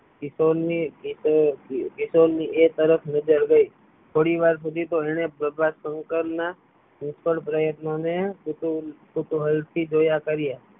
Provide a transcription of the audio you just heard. કિશોર ની એ તરફ નજર ગય થોડી વાર શુધી તો એને પ્રભાશંકર ના નિષ્ફળ પ્રયત્ન ને કુતૂહલ થી જોયા કર્યા